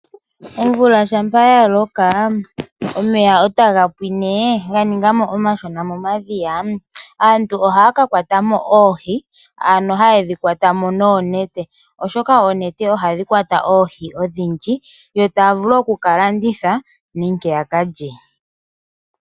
Omvula ngele yaloko omeya taga pwine ga ninga mo omashona momadhiya aantu ohaya ka kwata oohi noonete oshoka ohadhi kwata oohi odhindji . Dhimwe ohaya kalanditha dhimwe ohaya kalya.